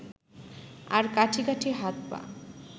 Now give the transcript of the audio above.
আর কাঠি কাঠি হাত-পা